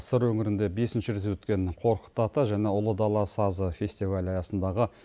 сыр өңірінде бесінші рет өткен қорқыт ата және ұлы дала сазы фестивалі аясындағы